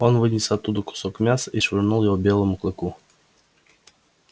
он вынес оттуда кусок мяса и швырнул его белому клыку